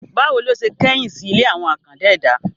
Bá wo ló se kẹ́yìn sí ilé àwọn àkàndá ẹ̀dá?